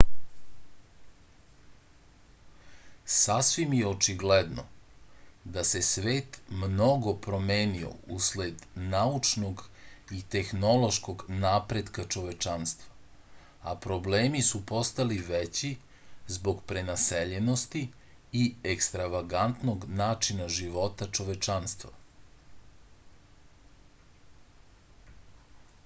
sasvim je očigledno da se svet mnogo promenio usled naučnog i tehnološkog napretka čovečanstva a problemi su postali veći zbog prenaseljenosti i ekstravagantnog načina života čovečanstva